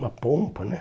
Uma pompa, né?